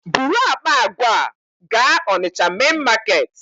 Buru akpa àgwà a gaa Onitsha main Market!